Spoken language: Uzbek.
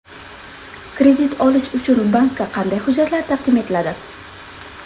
Kredit olish uchun bankka qanday hujjatlar taqdim etiladi?